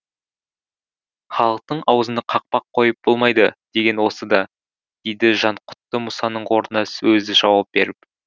халықтың аузына қақпақ қойып болмайды деген осы да дейді жанқұтты мұсаның орнына өзі жауап беріп